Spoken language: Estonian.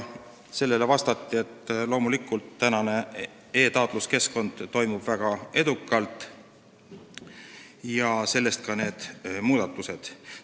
Selle peale vastati, et loomulikult toimib e-taotluskeskkond väga edukalt ja sellest ka need muudatused.